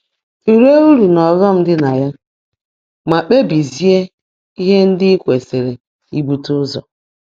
Tụlee uru na ọghọm dị na ya, ma kpebizie ihe ndị ị kwesịrị ibute ụzọ.